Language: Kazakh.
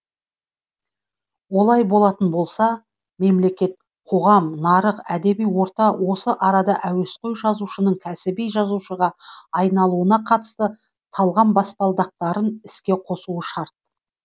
олай болатын болса мемлекет қоғам нарық әдеби орта осы арада әуесқой жазушының кәсіби жазушыға айналуына қатысты талғам баспалдақтарын іске қосуы шарт